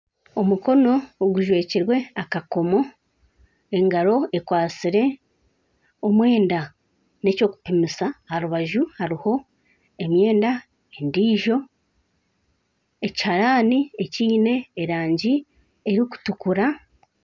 Omukono ogujwekirwe akakomo engaro akwatsire omwenda nekyokupimisa aharubaju haruho emyenda endijo ekiharani ekyine erangi eyokutukura.